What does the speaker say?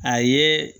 A ye